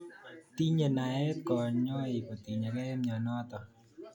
Tinye naet kanyoik kotinyekei mianotok